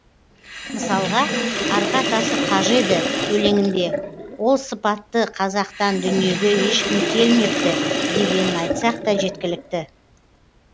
мысалға арғы атасы қажы еді өлеңінде ол сыпатты қазақтан дүниеге ешкім келмепті дегенін айтсақ та жеткілікті